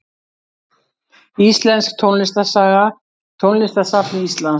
Íslensk tónlistarsaga Tónlistarsafn Íslands.